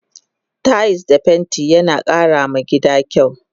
Tayis da fenti yana kara ma gida kyau